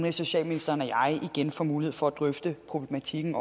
og socialministeren og jeg igen får mulighed for at drøfte problematikken